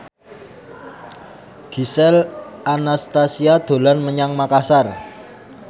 Gisel Anastasia dolan menyang Makasar